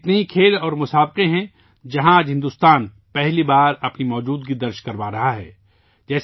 ایسے بہت سے کھیل اور مقابلے ہیں جہاں آج بھارت پہلی بار اپنی موجودگی درج کروا رہا ہے